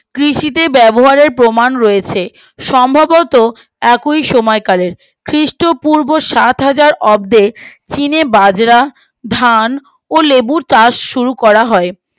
কৃষিতে ব্যবহারের প্রমান রয়েছে সম্ভবত একই সময় কালের খ্রীষ্ট পূর্ব সাত হাজার অর্ধে চিনে বাজরা ধান ও লেবুর চাষ শুরু করা হয়